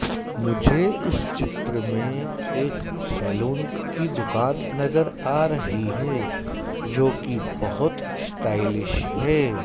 मुझे इस चित्र में एक सैलून की दुकान नजर आ रही है जोकि बहोत स्टाइलिश है।